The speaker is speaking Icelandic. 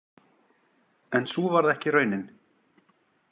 En sú varð ekki raunin.